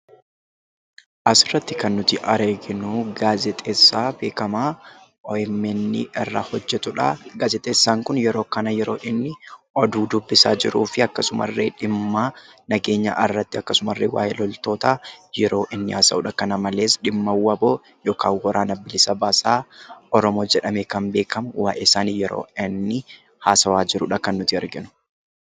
Asirratti kan arginu gaazexeessaa beekamaa OMN irraa hojjetudha. Gaazexeessaan kun yeroo kana yeroo inni oduu dubbisaa jiruu fi akkasuma illee dhimma nageenyaa irratti akkasuma waa'ee loltootaa yeroo inni haasa'udha. Kana malees dhimma WBO yookaan Waraana Bilisa Basaa Oromoo yeroo inni haasa'aa jirudha kan arginu.